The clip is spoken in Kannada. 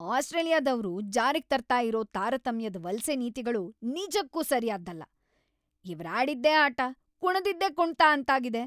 ಆಸ್ಟ್ರೇಲಿಯಾದವ್ರು ಜಾರಿಗ್ ತರ್ತಾ ಇರೋ ತಾರತಮ್ಯದ್ ವಲ್ಸೆ ನೀತಿಗಳು ನಿಜಕ್ಕೂ ಸರಿಯಾದ್ದಲ್ಲ, ಇವ್ರಾಡಿದ್ದೇ ಆಟ, ಕುಣ್ದಿದ್ದೇ ಕುಣ್ತ ಅಂತಾಗಿದೆ!